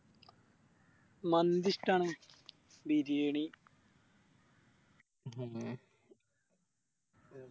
മന്തി ഇഷ്ട്ടാണ് ബിരിയാണി